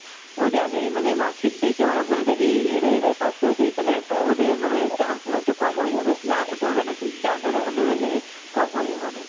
ওদের আগে মানে mark sheet দেখে ওরা বলে দেয় এই year এ এরাই পাস করেছে এখানে তা ওদের মানে chance গুলো একটু কম হয়ে যাবে, না তো করবে না কিন্তু chance কম হয়ে যাবে অনেক,